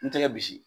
N tɛgɛ bi